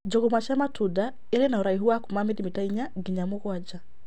Njũgũma cia matunda irĩ na ũraihu wa kuuma milimita 4 nginya 7.